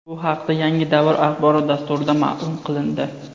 Bu haqda "Yangi davr" axborot dasturida ma’lum qilindi.